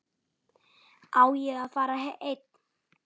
Á ég að fara einn?